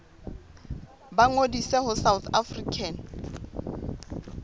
ba ngodise ho south african